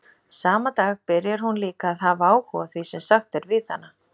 Sama dag byrjar hún líka að hafa áhuga á því sem sagt er við hana.